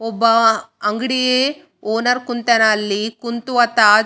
ಅಲ್ಲಿ ಭಾರಿ ಚೆನ್ನಾಗಿರೋ ಒಳೊಳ್ಳೆ ಬುಕ ಗೊಳಿದ್ದಾವ ಅಲ್ಲಿ.